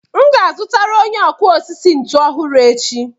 M ga-azụtara onye ọkụ osisi ntu ọhụrụ echi.